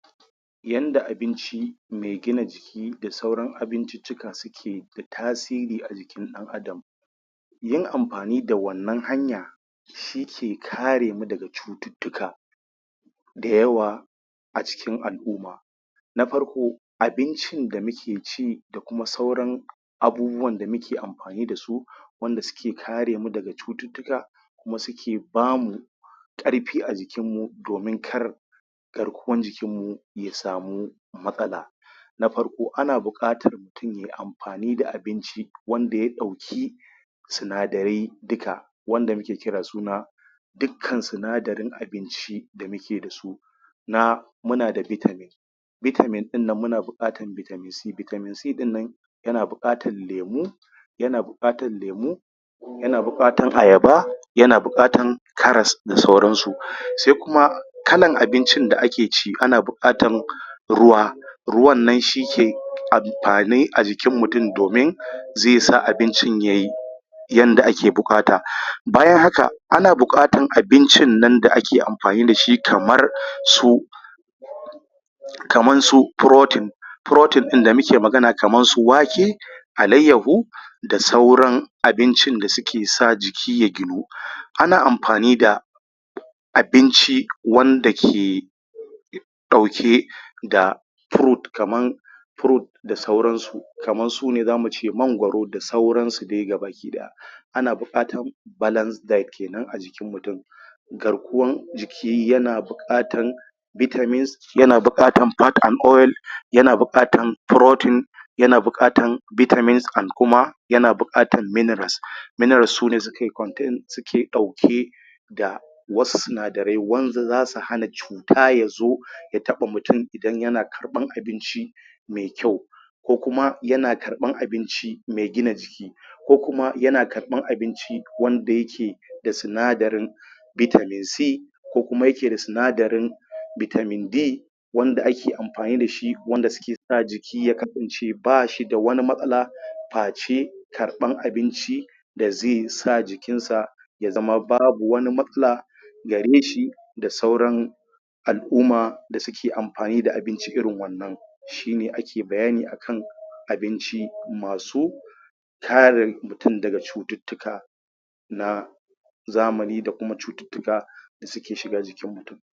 Yanda abinci mai gina jiki, da sauran abinciccika suke da tasiri a jikin ɗan adam yin amfani da wannan hanya shi ke kare mu daga cututtuka da yawa acikin al'umma na farko; abincin da muke ci da kuma sauran abubuwan da muke amfani dasu wanda suke kare mu daga cututtuka kuma suke bamu ƙarfi a jikin mu domin kar garkuwan jikin mu ya samu matsala na farko; ana buƙatan mutun ye amfani da abinci wanda ya ɗauki sinadarai dika wanda muke kira suna dikkan sinadarin abinci da muke dasu na muna da vitamin vitamin ɗin nan muna buƙatan vitamin c, vitamin c ɗin nan yana buƙatan lemu yana buƙatan lemu yana buƙatan ayaba yana buƙatan karas da sauran su, sai kuma kalan abincin da ake ci ana buƙatan ruwa ruwan nan shi ke amfani a jikin mutun domin zai sa abincin yay yanda ake buƙata, bayan haka ana buƙatan abincin nan da ake amfani dashi, kamar su kaman su protein protein ɗin da muke magana kaman su wake alayyahu da sauran abincin da suke sa jiki ya ginu um ana amfani da abinci wanda ke ɗauke da fruit kaman fruit da sauran su kamar sune zamu ce mangwaro da sauran su dai ga baki ɗaya ana buƙatan balance diet kenan a jikin mutun garkuwan jiki yana buƙatan vitamins yana buƙatan fats and oil yana buƙatan protein yana buƙatan vitamins and kuma yana buƙatan minerals minerals sune sukai contain suke ɗauke da wasu sinadarai wanda zasu hana cuta yazo ya taɓa mutun idan yana karɓan abinci mai kyau ko kuma yana karɓan abinci mai gina jiki ko kuma yana ƙarɓan abinci wanda yake da sinadarin vitamin c ko kuma yake da sinadarin vitamin D wanda ake amfani dashi wanda suke yasa jiki ya kasance bashi da wani matsala fa ce karɓan abinci da zai sa jikin sa ya zama babu wani matsla gare shi da sauran al'uma da suke amfani da abinci irin wannan shi ne ake bayani akan abinci, masu kare mutun daga cututtuka na zamani da kuma cututtuka da suke shiga jikin mutun.